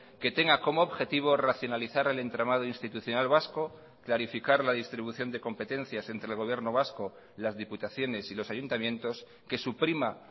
que tenga como objetivo racionalizar el entramado institucional vasco clarificar la distribución de competencias entre el gobierno vasco las diputaciones y los ayuntamientos que suprima